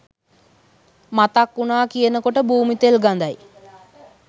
මතක්වුනා කියනකොට භූමිතෙල් ගදයි